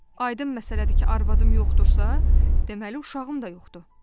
Aydın məsələdir ki, arvadım yoxdursa, deməli uşağım da yoxdur.